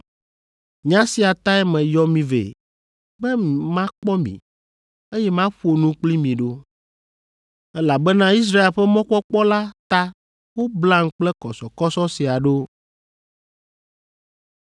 Nya sia tae meyɔ mi vɛ, be makpɔ mi, eye maƒo nu kpli mi ɖo; elabena Israel ƒe mɔkpɔkpɔ la ta woblam kple kɔsɔkɔsɔ sia ɖo.”